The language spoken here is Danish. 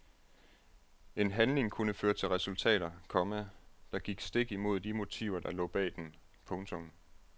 En handling kunne føre til resultater, komma der gik stik imod de motiver der lå bag den. punktum